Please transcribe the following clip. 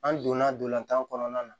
An donna ntolantan kɔnɔna na